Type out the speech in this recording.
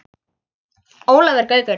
Ólafur Gaukur